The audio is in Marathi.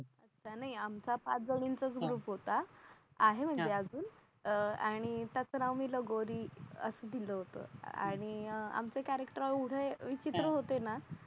तस नई आमचा पाच जणींन चा ग्रुप होता आहे म्हणजे अजून अह आणि त्यात तर आम्ही लगोरी असं होत आणि अह आमचे कॅरॅक्टर एवढे विचित्र होते ना